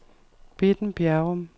Bitten Bjerrum